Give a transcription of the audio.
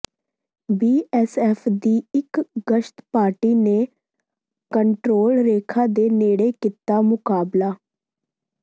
BSF ਦੀ ਇਕ ਗਸ਼ਤ ਪਾਰਟੀ ਨੇ ਕੰਟਰੋਲ ਰੇਖਾ ਦੇ ਨੇੜੇ ਕੀਤਾ ਮੁਕਾਬਲਾ